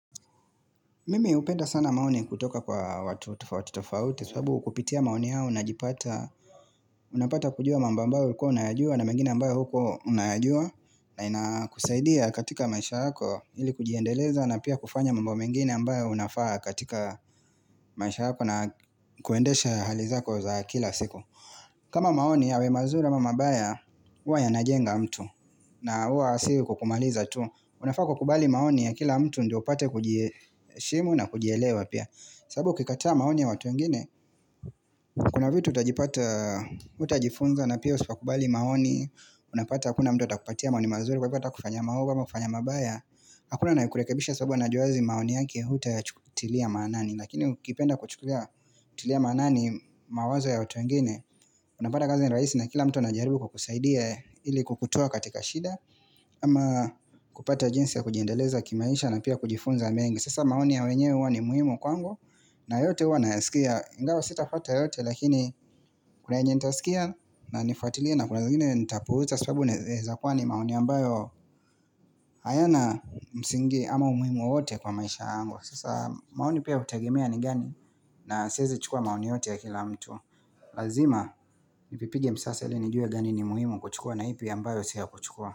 Mimi upenda sana maoni kutoka kwa watu tofauti tofauti kwa sababu kupitia maoni au na jipata Unapata kujua mambo ambao huko unayajua na mengine ambayo hukuwaunayajua na inakusaidia katika maisha yako ili kujiendeleza na pia kufanya mamba mengine ambayo unafaa katika maisha yako na kuendesha hali zako za kila siku kama maoni yawe mazuri amaml mabaya uwa yanajenga mtu na uwa asiri kukumaliza tu unafaa kwa kubali maoni ya kila mtu ndio upate kujiheshimu na kujielewa pia sababu ukikataa maoni ya watu wngine Kuna vitu utajipata hutajifunza na pia usipokubali maoni Unapata hakuna mtu utakupatia maoni mazuri Kwa hivo ata kufanya maogo ama kufanya mabaya Hakuna anaye kurekebisha sababu a najua wazi maoni yaki ya huta ya chukutilia manani Lakini kipenda kuchukulia manani mawazo ya watu wengine Unapata kazi ni rahisi na kila mtu anajaribu kukusaidia ili kukutoa katika shida ama kupata jinsi ya kujendeleza kimaisha na pia kujifunza mengi Sasa maoni ya wenye uwa ni muhimu kwangu na yote uwa nayasikia ingawa sita fuata yote lakini kuna yenye nita sikia na nifuatilia na kuna zingine nita puuza sababu naeza kuwa ni maoni ambayo hayana msingi ama umuhimu wote kwa maisha yangu Sasa maoni pia utegemea ni gani na siwezi chukua maoni yote ya kila mtu Lazima ipipige msasa ili nijue gani ni muhimu kuchukua na ipi ambayo si ya kuchukua.